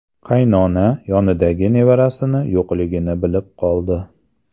Qaynona yonidagi nevarasi yo‘qligini bilib qoldi.